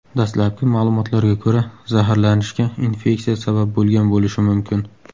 Dastlabki ma’lumotlarga ko‘ra, zaharlanishga infeksiya sabab bo‘lgan bo‘lishi mumkin.